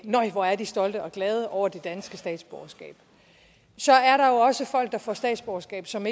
nej hvor er de stolte og glade over det danske statsborgerskab så er der jo også folk der får statsborgerskab som